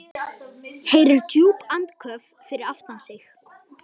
Heyrir djúp andköf fyrir aftan sig.